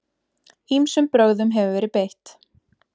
Ýmsum brögðum hefur verið beitt.